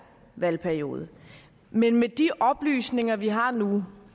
valgperiode men med de oplysninger vi har nu